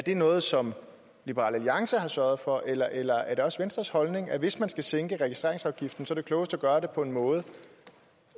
noget som liberal alliance har sørget for eller eller er det også venstres holdning at hvis man skal sænke registreringsafgiften er det klogest at gøre det på en måde